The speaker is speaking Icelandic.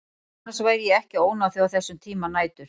Annars væri ég ekki að ónáða þig á þessum tíma nætur.